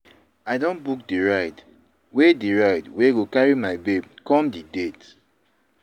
I don book di ride wey the ride wey go carry my babe come di date.